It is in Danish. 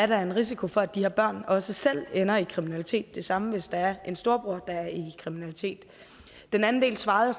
der er en risiko for at de her børn også selv ender i kriminalitet det samme gælder hvis der er en storebror der er i kriminalitet den anden del svarede